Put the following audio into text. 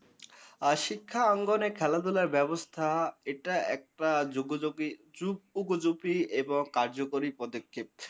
আ শিক্ষাঙ্গন ও খেলাধুলা ব্যাবস্থা এটা একটা জগ্যয়গি ও উপযোগী এবং কার্যকরী পদ্ধতি।